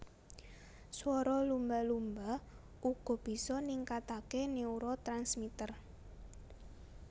Swara lumba lumba uga bisa ningkatake neurotransmitter